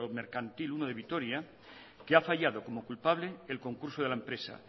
mercantil uno de vitoria que ha fallado como culpable el concurso de la empresa